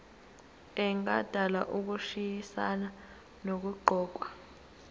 engadala ukushayisana nokuqokwa